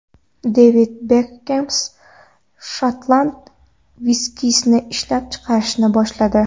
Devid Bekxem shotland viskisini ishlab chiqarishni boshladi.